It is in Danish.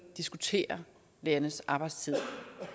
diskutere lærernes arbejdstid